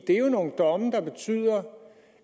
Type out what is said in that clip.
er jo nogle domme der betyder